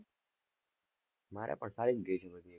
મારે પણ સારી જ ગયી છે બધી.